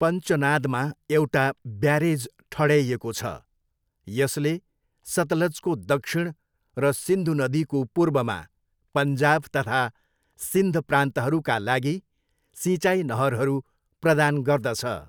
पञ्चनादमा एउटा ब्यारेज ठड्याइएको छ, यसले सतलजको दक्षिण र सिन्धु नदीको पूर्वमा पन्जाब तथा सिन्ध प्रान्तहरूका लागि सिँचाइ नहरहरू प्रदान गर्दछ।